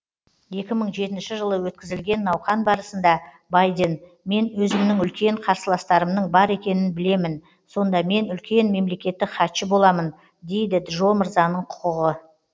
екі мың жетінші жылы өткізілген науқан барысында байден мен өзімнің үлкен қарсыластарымның бар екенін білемін сонда мен үлкен мемлекеттік хатшы боламын дейді джо мырзаның құқығы